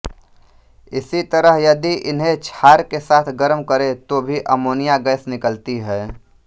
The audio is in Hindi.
इसी तरह यदि इन्हें क्षार के साथ गर्म करें तो भी अमोनिया गैस निकलती है